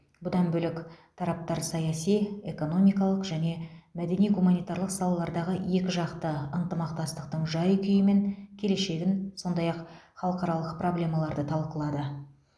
бұдан бөлек тараптар саяси экономикалық және мәдени гуманитарлық салалардағы екіжақты ынтымақтастықтың жай күйі мен келешегін сондай ақ халықаралық проблемаларды талқылады